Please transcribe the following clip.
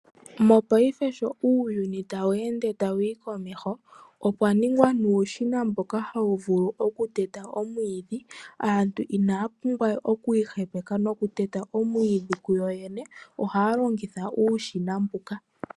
Mopaife sho uuyuni tawu ende tawu yi komeho, okwa ningwa nuushona mboka hawu vulu oku teta omwiidhi. Aantu inaya pumbwa we okwi ihepeka nokuteta omwiidhi kuyoyene ohaya longitha uushina mbuka.